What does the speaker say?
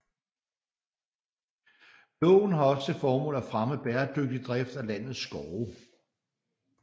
Loven har også til formål at fremme bæredygtig drift af landets skove